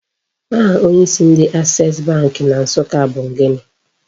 Aha onyeisi ndị Access Bank na Nsụka bu gịnị?